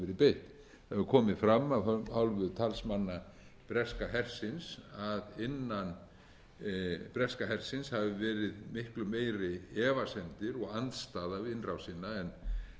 beitt það hefur komi fram af hálfu talsmanna breska hersins að innan breska hersins hafi verið miklu meiri efasemdir og andstaða við innrásina en